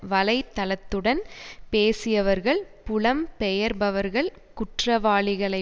வலை தளத்துடன் பேசியவர்கள் புலம்பெயர்பவர்கள் குற்றவாளிகளை